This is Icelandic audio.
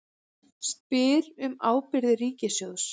Spyr um ábyrgðir ríkissjóðs